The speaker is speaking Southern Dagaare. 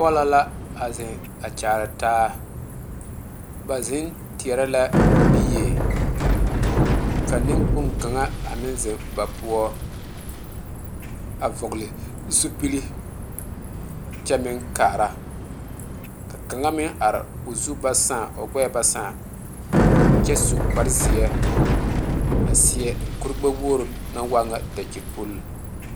Polo la a zeŋ Kyaara taa ba zeŋ teɛre la bie ka nenkpoŋ kaŋa a meŋ zeŋ ba poɔ a vɔgle zupele kyɛ meŋ are ka kaŋa meŋ are o zu ba saa o gbeɛ ba saa kyɛ su kpare ziɛ a seɛ kuri gbe wogre naŋ waa ŋa dakyipul.